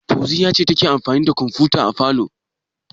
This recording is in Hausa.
Fauziyya ce take amfani da kwamfuta a falo.